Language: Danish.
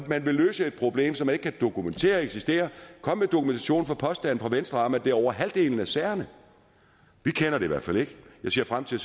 man vil løse et problem som man ikke kan dokumentere eksisterer kom med dokumentation for påstanden fra venstre om at det er i over halvdelen af sagerne vi kender det i hvert fald ikke jeg ser frem til